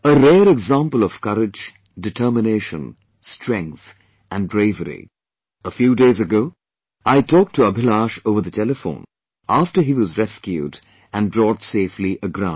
A rare example of courage, determination, strength and bravery a few days ago I talked to Abhilash over the telephone after he was rescued and brought safely ground